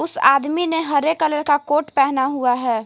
उस आदमी ने हरे कलर का कोट पहना हुआ है।